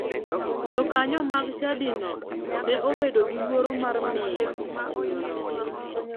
Jokanyo mag chadino ne obedo gi luoro mar miyo miyono hola.